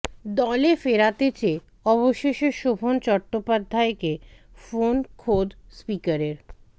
দলে ফেরাতে চেয়ে অবশেষে শোভন চট্টোপাধ্যায়কে ফোন খোদ স্পিকারের